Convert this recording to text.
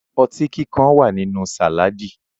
Ọtí kíkan wà nínú sàládì